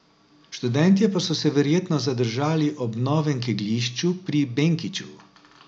Študentje pa so se verjetno zadržali ob novem kegljišču pri Benkiču.